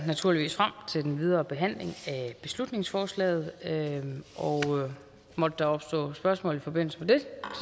naturligvis frem den videre behandling af beslutningsforslaget og måtte der opstå spørgsmål i forbindelse med det